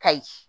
Kayi